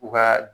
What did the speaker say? U ka